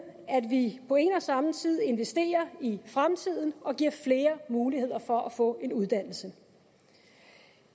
at vi på en og samme tid investerer i fremtiden og giver flere muligheder for at få en uddannelse